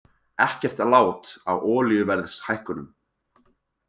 Ekkert lát á olíuverðshækkunum